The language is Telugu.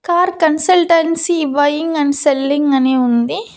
Car consultancy buying and selling అని ఉంది.